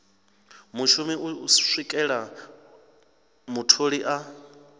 mushumi u swikela mutholi a